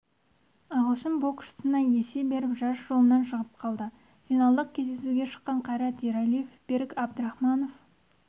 ағылшын боксшысына есе жіберіп жарыс жолынан шығып қалды финалдық кездесуге шыққан қайрат ералиев берік әбдірахманов